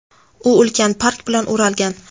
u ulkan park bilan o‘ralgan.